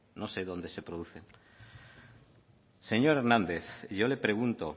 no sé dónde se produce señor hernández y yo le pregunto